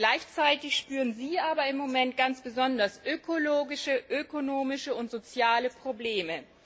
Gleichzeitig spüren sie aber im Moment ganz besonders ökologische, ökonomische und soziale Probleme.